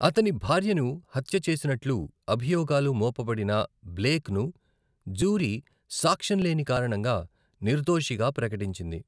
అతని భార్యను హత్య చేసినట్లు అభియోగాలు మోపబడిన బ్లేక్ను, జ్యూరీ సాక్ష్యం లేని కారణంగా నిర్దోషిగా ప్రకటించింది.